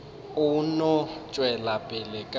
a no tšwela pele ka